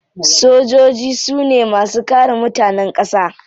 Sojoji su ne masu kare mutanen kasa.